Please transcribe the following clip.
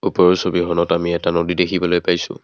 ওপৰৰ ছবিখনত আমি এটা নদী দেখিবলৈ পাইছোঁ।